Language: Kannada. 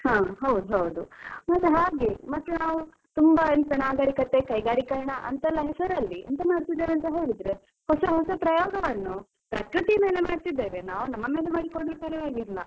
ಹಾ ಹೌದೌದು ಮತ್ತೆ ಹಾಗೆ ಮತ್ತೆ ನಾವು ತುಂಬಾ ಎಂತಾ ನಾಗರಿಕತೆ ಕೈಗಾರಿಕರಣ ಅಂತೆಲ್ಲ ಹೆಸರಲ್ಲಿ ಎಂತ ಮಾಡ್ತಿದ್ದೇವೆ ಅಂತ ಹೇಳಿದ್ರೆ ಹೊಸ ಹೊಸ ಪ್ರಯೋಗವನ್ನು ಪ್ರಕೃತಿ ಮೇಲೆ ಮಾಡ್ತಿದ್ದೇವೆ ನಾವು ನಮ್ಮ ಮೇಲೆ ಮಾಡಿ ಕೊಂಡ್ರೆ ಪರವಾಗಿಲ್ಲ.